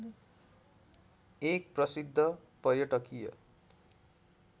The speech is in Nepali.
एक प्रसिद्ध पर्यटकीय